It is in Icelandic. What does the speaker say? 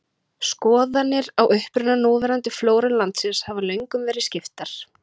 Skoðanir á uppruna núverandi flóru landsins hafa löngum verið skiptar.